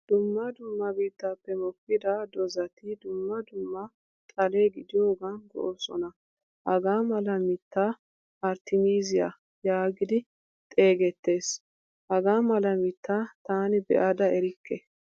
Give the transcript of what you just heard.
Dumma dumma biittappe mokkida dozatti dumma dumma xale gidiyogan go'osona. Hagaamala mitta arttmiziyaa yaagidi xeegettees. Hagaa mala mitta taani beada erikke.